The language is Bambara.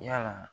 Yala